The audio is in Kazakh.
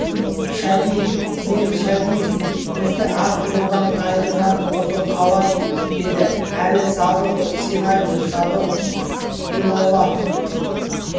шәдиев мен шәдиевпін бізді ақ жолдан тайдырған осы қалай еді әлгі садыханов сен айтшы садыханов иллаллада